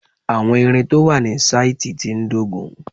Àwọn ìrìn tó wà ní sáìtì tí ń dógùn-ún